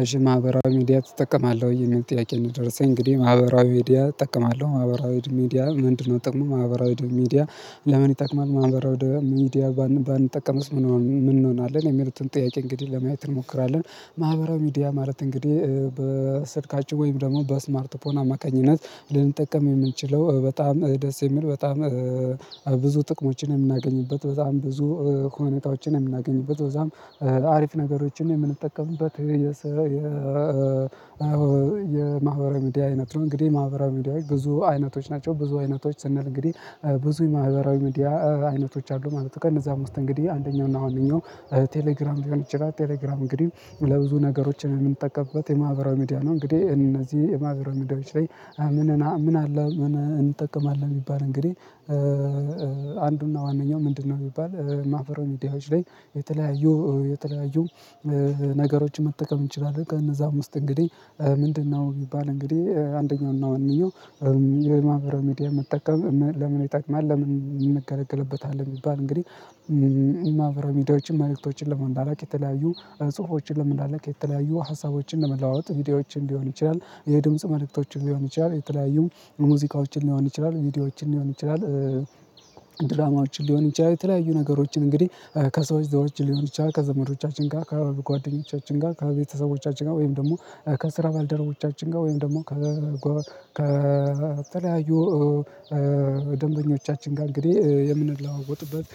እሽ ማህበራዊ ሚዲያ ትጠቀማለህ ወይ? የሚል ጥያቄ ነው የደረሰኝ እንግዲህ ማህበራዊ ሚዲያ እጠቀማለሁ ማህበራዊ ድምድም ሚዲያ ምንድነው ጥቅሙ ማህበራዊ ድምድም ሚዲያ ለምን ይጠቅማል ማህበራው ደ ሚዲያ ባንጠቀምስ ምን እንሆናለን የሚሉትን ጥያቄ እንግዲህ ለማየት እንሞክራለን ማህበራዊ ሚዲያ ማለት እንግዲህ በስልካችን ወይም ደግሞ በስማርት ፖርን አማካኝነት ልንጠቀም የምንችለው በጣም ደስ የሚል በጣም ብዙ ጥቅሞችን የምናገኝበት በጣም ብዙ ከሆነ እቃዎችን የምናገኝበት በጣም አሪፍ ነገሮችን የምንጠቀምበት የማህበራዊ ሚዲያ አይነት ነው እንግዲህ ማህበራዊ ሚዲያዎች ብዙ አይነቶች ናቸው ብዙ አይነቶች ስንል እንግዲህ ብዙ የማህበራዊ ሚዲያ አይነቶች አሉ ማለት ነው ከነዛም ውስጥ እንግዲህ አንደኛው እና አንደኛው ቴሌግራም ሊሆን ይችላል ቴሌግራም እንግዲህ ለብዙ ነገሮች የምንጠቀምበት የማህበራዊ ሚዲያ ነው እንግዲህ እነዚህ የማህበራዊ ላይ አምነና ምን አለ እንጠቀማለን የሚባል እንግዲህ አንዱና ዋነኝዐው ምንድነው የሚባል ማህበራዊ ሚዲያዎች ላይ የተለያዩ የተለያዩ ነገሮችን መጠቀም እንችላለን ከነዛ አምስት እንግዲህ ምንድነው የሚባል እንግዲህ አንደኛው እና ዋነኛው የማብረሚዲያ መጠቀም ለምን ይጠቅማል ለምን እንገለገልበታለን ቢባል እንግዲህ የማህበራዊ ሚዲያዎችን ማየቶችን ለመንዳል አላቅ የተለያዩ ጽሁፎችን ለመንዳል ከተለያዩ ሀሳቦችን ለመለዋወጥ ቪዲዮዎችን ሊሆን ይችላል የድምጽ መልእክቶችን ሊሆን ይችላል የተለያዩ ሙዚቃዎችን ሊሆን ይችላል ቪዲዮዎችን ሊሆን ይችላል ድራማዎችን ሊሆን ይችላል የተለያዩ ነገሮችን እንግዲህ ከሰዎች ዘዋችን ሊሆን ይችላል ከዘመዶቻችን ጋር ከአብሮ ከጓደኞቻችን ጋር ከቤተሰቦቻችን ጋር ወይም ደግሞ ከስራ ባልደረቦቻችን ጋር ወይም ደግሞ ከተለያዩ ደንበኞቻችን ጋር እንግዲህ የምንለዋወጥበት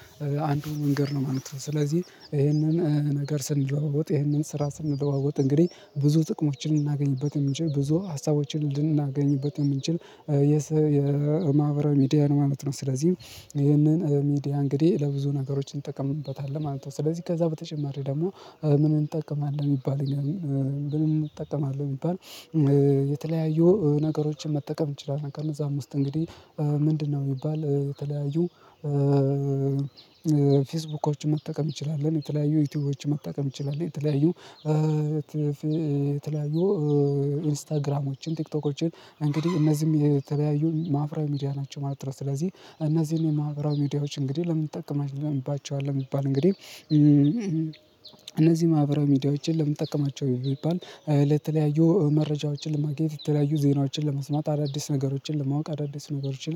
አንዱ መንገድ ነው ማለት ነው ስለዚህ ይሄንን ነገር ስንለዋወጥ ይሄንን ስራ ስንለዋወጥ እንግዲህ ብዙ ጥቅሞችን ልናገኝበት የምንችል ብዙ ሀሳቦችን ልናገኝበት የምንችል የማህበራዊ ሚዲያ ማለት ነው ስለዚህ ይሄንን ሚዲያ እንግዲህ ለብዙ ነገሮች እንጠቀምበታለን ማለት ነው ስለዚህ ከዛ በተጨማሪ ደግሞ ምን እንጠቀማለን ቢባል እኔ አሁን ምን እጠቀማለሁ የሚባል የተለያዩ ነገሮችን መጠቀም እንችላለን ከነዛም ውስጥ እንግዲህ ምንድነው የሚባል የተለያዩ ፌስቡኮችን መጠቀም እንችላለን የተለያዩ ዩቲዩብዎችን መጠቀም ይችላል የተለያዩ የተለያዩ ኢንስታግራሞችን ቲክቶኮችን እንግዲህ እነዚህም የተለያዩ ማሀበራዊ ሚዲያ ናቸው ማለት ነው ስለዚህ እነዚህን የማህራዊ ሚዲያዎች እንግዲህ ለምን ትጠቀማላችሁ እንባቸዋለን የሚባል እንግዲህ እነዚህ ማህበራዊ ሚዲያዎችን ለመጠቀማቸው ቢባል ለተለያዩ መረጃዎችን ለማግኘት የተለያዩ ዜናዎችን ለመስማት አዳዲስ ነገሮችን ለማወቅ አዳዲስ ነገሮችን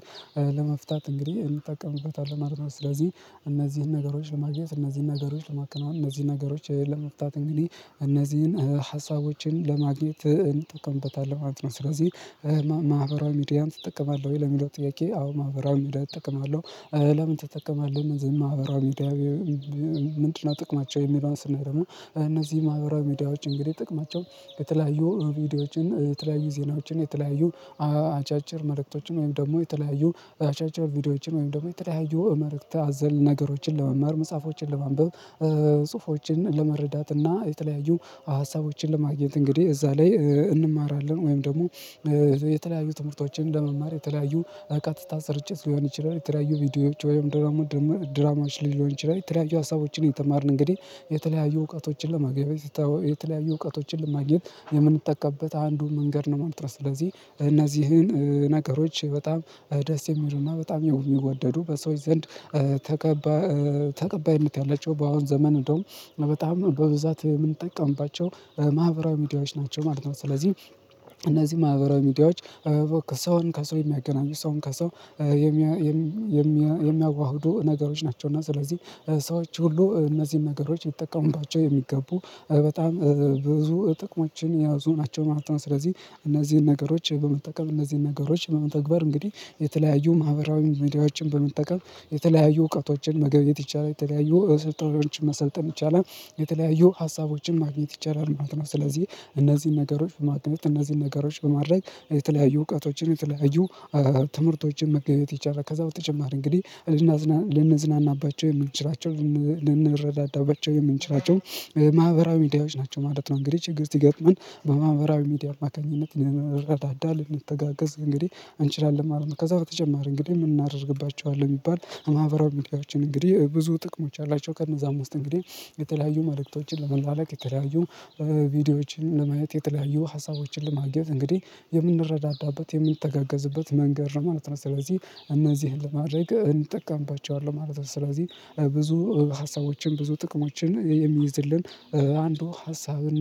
ለመፍታት እንግዲህ እንጠቀምበታለን ማለት ነው ስለዚህ እነዚህን ነገሮች ለማግኘት እነዚህን ነገሮች ለማከናወን እነዚህን ነገሮች ለመፍታት እንግዲህ እነዚህን ሀሳቦችን ለማግኘት ተቀምጠታለባት ነው ስለዚህ ማህበራዊ ሚዲያን ትጠቀማለህ ወይ? ለሚለው ጥያቄ አዎ ማህበራዊ ሚዲያ እጠቀማለሁ ለምን ትጠቀማለህ ዝም ማህበራዊ ሚዲያ ምንድነው ጥቅማቸው የሚለውን ስናይ ደግሞ እነዚህ ማህበራዊ ሚዲያዎች እንግዲህ ጥቅማቸው የተለያዩ ቪዲዮዎችን የተለያዩ ዜናዎችን የተለያዩ አጫጭር መለክቶችን ወይም ደግሞ የተለያዩ አጫጭር ቪዲዮዎችን ወይም ደግሞ የተለያዩ እመረክተህ አዘል ነገሮችን ለመምረጥ መጽሐፎችን ለማንበብ ጽሁፎችን ለመረዳት እና የተለያዩ ሀሳቦችን ለማግኘት እንግዲህ እዛ ላይ እንማራለን ወይም ደግሞ የተለያዩ ትምህርቶችን ለመማር የተለያዩ ቀጥታ ስርጭት ሊሆን ይችላል የተለያዩ ቪዲዮዎች ወይም ድራማ ደራማዎች ሊሆን ይችላል የተለያዩ ሀሳቦችን የተማርን እንግዲህ የተለያዩ እውቀቶችን ለማግኘት የተለያዩ እውቀቶችን ለማግኘት የምንተካበት አንዱን መንገድ መልስ ስለዚህ እነዚህን ነገሮች በጣም ደስ የሚሉና በጣም የሚወደዱ በሰዎች ዘንድ ተቀባይ ተቀባይነት ያለችው በአሁን ዘመን እንደውም በጣም በብዛት የምንጠቀምባቸው ማህበራዊ ሚዲያዎች ናቸው ማለት ነው ስለዚህ እነዚህ ማህበራዊ ሚዲያዎች ከሰውን ከሰው የሚያገናኙ ሰውን ከሰው ሚያዋህዱ ነገሮች ናቸው እና ስለዚህ ሰዎች ሁሉ እነዚህን ነገሮች የሚጠቀሙባቸው የሚገቡ በጣም ብዙ ጥቅሞችን የያዙ ናቸው ማለት ነው ስለዚህ እነዚህን ነገሮች በመጠቀም እነዚህን ነገሮች በመተግበር እንግዲህ የተለያዩ ማህበራዊ ቪዲዮዎችን በመጠቀም የተለያዩ እውቀቶችን መገብየት ይቻላል የተለያዩ ስልጠናዎችን መሰልጠን ይቻላል የተለያዩ ሀሳቦችን ማግኘት ይቻላል ማለት ነው ስለዚህ እነዚህን ነገሮች በማግኘት እነዚህን ነገሮች በማድረግ የተለያዩ እውቀቶችን የተለያዩ ትምህርቶችን መገየት ይቻላል ከዛ በተጨማር እንግዲህ ልንዝናናባቸው የምንችራቸው ልንረዳዳባቸው የምንችራቸው ማህበራዊ ሚዲያዎች ናቸው ማለት ነው እንግዲህ ችግር ሲገጥመን በማህበራዊ ሚዲያ አማካኝነት ረዳዳ ልንተጋገዝ እንግዲህ እንችላለን ከዛ በተጨማሪ እንግዲህ ምን እናደርግባቸዋለን የሚባል ማህበራዊ ሚዲያዎችን እንግዲህ ብዙ ጥቅሞች አላቸው ከእነዛም ውስጥ እንግዲህ የተለያዩ መልእክቶችን ለመላለቅ የተለያዩ ቪዲዮዎችን ለማየት የተለያዩ ሀሳቦችን ለማግኘት እንግዲህ የምንረዳዳበት የምንተጋገዝበት መንገድ ማለት ነው ስለዚህ እነዚህን ለማድረግ እንጠቀምባቸዋለን ማለት ነው ስለዚህ ብዙ ሀሳቦችን ብዙ ጥቅሞችን የሚይዝልን አንዱ ሀሳብና